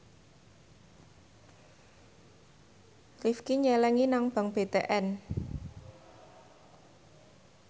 Rifqi nyelengi nang bank BTN